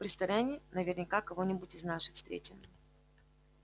в ресторане наверняка кого-нибудь из наших встретим